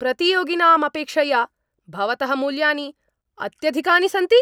प्रतियोगिनां अपेक्षया भवतः मूल्यानि अत्यधिकानि सन्ति।